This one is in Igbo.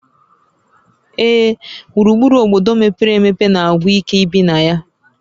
Ee, gburugburu obodo mepere emepe na-agwụ ike ibi na ya